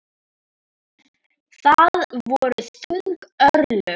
Það voru þung örlög.